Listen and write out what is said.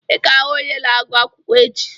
Ị ga-ahụ onye na-agụ akwụkwọ echi!